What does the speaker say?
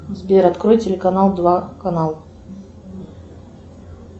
сбер открой телеканал два канал